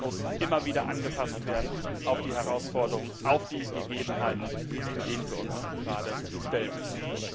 Aber CITES muss immer wieder angepasst werden an die Herausforderungen, an die Gegebenheiten, denen wir uns gerade stellen müssen.